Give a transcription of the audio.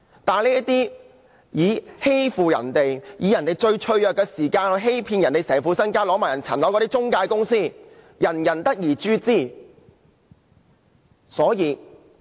這些中介公司欺騙別人，利用別人最脆弱之時，騙取其全部身家，更連其物業也騙走，人人得而誅之。